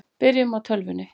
Byrjum á tölvunni.